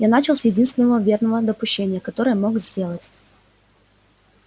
я начал с единственного верного допущения которое мог сделать